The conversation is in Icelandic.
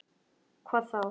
Hvað þá!